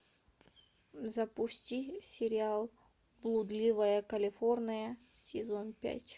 запусти сериал блудливая калифорния сезон пять